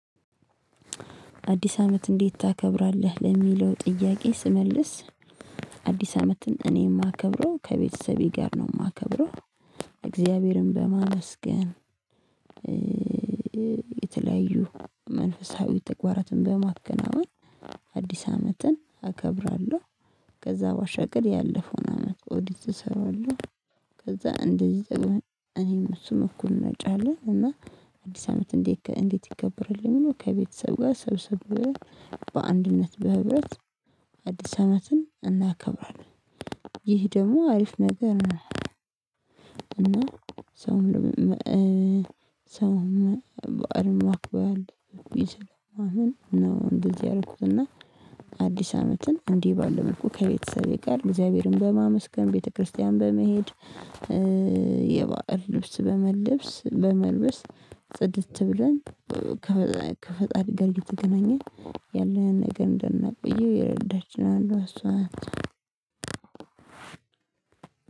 አዲስ አመት እንዴት ታከብራለህ ለሚለው ጥያቄ ስመልስ? አዲስ አመትን እኔ የማከብረው ከቤተሰቤ ጋር ነው የማከብረው እግዚአብሔርን በማመስገን። የተለያዩ መንፈሳዊ ተግባራትን በማከናወን አዲስ አመትን አከብራለሁ። ከዛ ባሻገር ያለፈውን አመት ኦዲት እሰራለሁ። ከዛ እንደዚህ እኔም እሱም እኩል እናጫለን። እና አዲስ አመት እንዴት እንዴት ይከብርልኝ? ለምለው ከቤተሰብ ጋር ሰብስበው በአንድነት በህብረት አዲስ አመትን እናከብራለን። ይህ ደግሞ አሪፍ ነገር ነው። እና ሰውም ሰውም ባዓልን ማክበል ይዘው ማመን ነው። እንደዚህ ያረኩትና አዲስ አመትን እንዲህ ባለው መልኩ ከቤተሰቤ ጋር እግዚአብሔርን በማመስገን ቤተክርስቲያን በመሄድ። የባዕል ልብስ በመልብስ በመልበስ ጽድት ብለን ከፈጣሪ ጋር እየተገናኘኝ ያለን ነገር እንደነበየው የረዳችን አንዱዋ እሷ ነት።